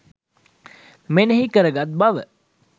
මෙනෙහි කර ගත් බව